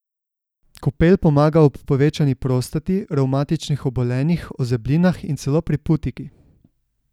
Kopel pomaga ob povečani prostati, revmatičnih obolenjih, ozeblinah in celo pri putiki.